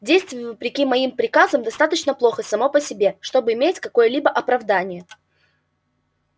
действие вопреки моим приказам достаточно плохо само по себе чтобы иметь какое-либо оправдание